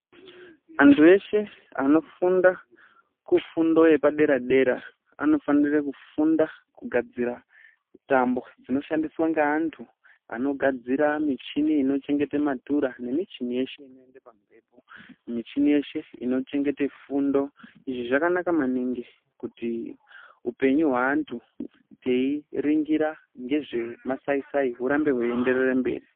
Vantu veshe vanofunda kufundo yepaderadera anofanira kufunda kugadzira tambo dzinoshandiswa ngeantu anogadzire michini inochengeta matura nemichini yeshe inoende pamhepo ,michini yeshe inochengete fundo izvi zvakanaka maningi kuti upenyu hweantu teiringira ngezve upenyu hwemasaisai hurambe hweiende mberi.